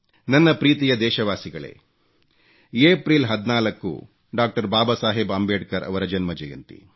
ನನ್ನ ಪ್ರೀತಿಯ ದೇಶವಾಸಿಗಳೇ ಏಪ್ರಿಲ್ 14 ಡಾಕ್ಟರ್ ಬಾಬಾ ಸಾಹೇಬ್ ಅಂಬೇಡ್ಕರ್ ಅವರ ಜನ್ಮ ಜಯಂತಿ